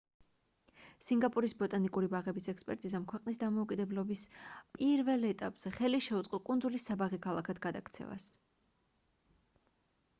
სინგაპურის ბოტანიკური ბაღების ექსპერტიზამ ქვეყნის დამოუკიდებლების პირველ ეტაპზე ხელი შეუწყო კუნძულის საბაღე ქალაქად გადაქცევას